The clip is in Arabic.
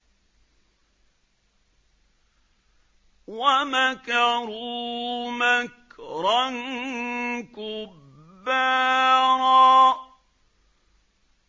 وَمَكَرُوا مَكْرًا كُبَّارًا